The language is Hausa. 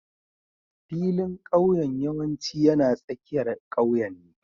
Filin ƙauyen yawanci yana tsakiyar ƙauyen ne